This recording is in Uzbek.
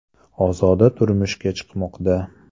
Ozoda turmushga chiqmoqda.